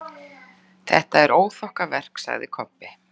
Þetta er óþokkaverk, sagði Kobbi.